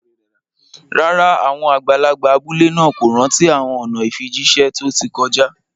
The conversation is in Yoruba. Rárá, àwọn àgbàlagbà abúlé náà kò rántí àwọn ọ̀nà ìfijíṣẹ́ tó ti kọjá